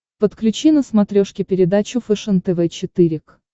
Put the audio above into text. подключи на смотрешке передачу фэшен тв четыре к